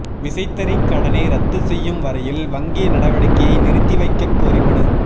விசைத்தறி கடனை ரத்து செய்யும் வரையில் வங்கி நடவடிக்கையை நிறுத்தி வைக்கக் கோரி மனு